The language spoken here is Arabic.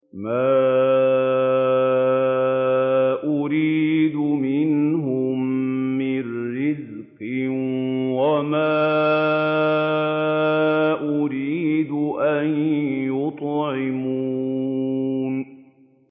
مَا أُرِيدُ مِنْهُم مِّن رِّزْقٍ وَمَا أُرِيدُ أَن يُطْعِمُونِ